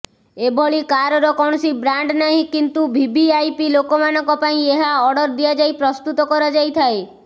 ଏଭଳି କାରର କୌଣସି ବ୍ରାଣ୍ଡ୍ ନାହିଁ କିନ୍ତୁ ଭିଭିଆଇପି ଲୋକମାନଙ୍କ ପାଇଁ ଏହା ଅର୍ଡର ଦିଆଯାଇ ପ୍ରସ୍ତୁତ କରାଯାଇଥାଏ